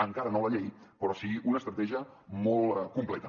encara no la llei però sí una estratègia molt completa